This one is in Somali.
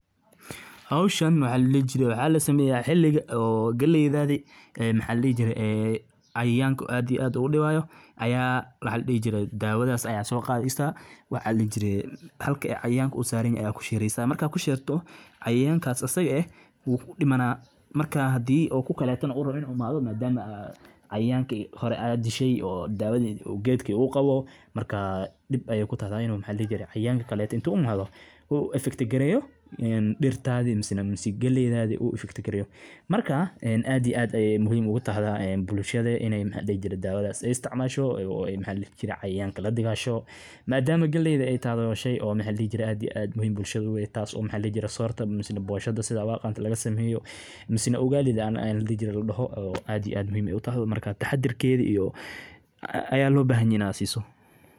Beeraleydan geeljire ah, oo lagu magacaabo Aamina, ayaa subax walba si dedaal leh u toostaa iyadoo qoraxdu weli cirka kasoo ifin, si ay u daryeesho dalagyadeeda ku yaalla beerta yar ee ay ku leedahay deegaanka, halkaas oo ay ku beertay galley, digir, iyo bocor. Iyadoo xiran dirac dheer iyo cimaamad ka difaacaysa qorraxda kulul, Aamina waxay markiiba u dhaqaaqdaa beerta iyadoo gacanta ku sidata biyo iyo qalabkii beeraleyda ee ay u adeegsan lahayd nadiifinta cawska, waraabinta, iyo ka warqabka xaaladda geedaha. Iyadoo dhulka u jeesanaysa.